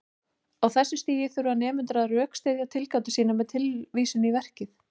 Á þessu stigi þurfa nemendur að rökstyðja tilgátur sínar með tilvísun í verkið.